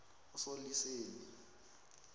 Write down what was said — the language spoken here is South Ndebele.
usoliseni